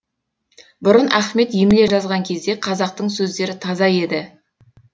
бұрын ахмет емле жазған кезде қазақтың сөздері таза еді